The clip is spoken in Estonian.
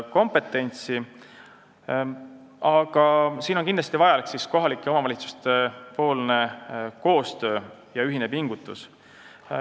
Kindlasti on siin aga vajalik kohalike omavalitsuste koostöö ja ühine pingutus.